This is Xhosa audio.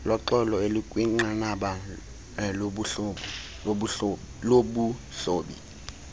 loxolo elikwinqanaba lobuhloli